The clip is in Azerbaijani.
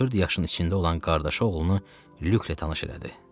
14 yaşının içində olan qardaşı oğlunu Lüklə tanış elədi.